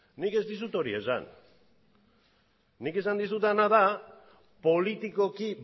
nik ez dizut hori esan nik esan dizudana da politikoki